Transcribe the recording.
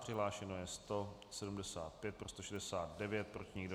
Přihlášeno je 175, pro 169, proti nikdo.